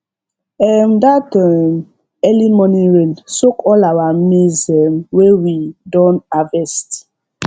um that um early morning rain soak all our maize um wey we don harvest